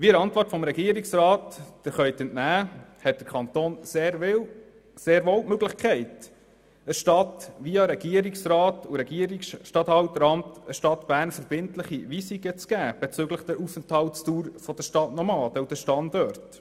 Wie Sie der Antwort des Regierungsrats entnehmen können, hat der Kanton sehr wohl die Möglichkeit, der Stadt Bern via Regierungsrat und via Regierungsstatthalteramt verbindliche Weisungen zu geben bezüglich der Aufenthaltsdauer und den Standorten der Stadtnomaden.